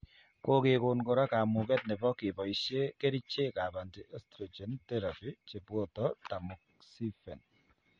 Kokekoon kora kamuget nebo keboishe kerichekab anti estrogen therapy cheboto tamoxifen